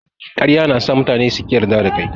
Ƙarya na sa mutane su ƙi yarda da kai.